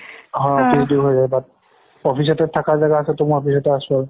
office তে থাকা জাগা আছে ত office তে আছো আৰু